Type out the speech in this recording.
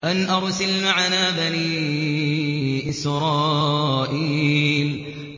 أَنْ أَرْسِلْ مَعَنَا بَنِي إِسْرَائِيلَ